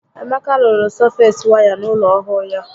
Emeka rụrụ sọfeesi waya n'ụlọ ọhụụ ya